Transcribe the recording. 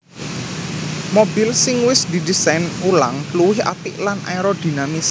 Mobil sing wis didésain ulang luwih apik lan aerodinamis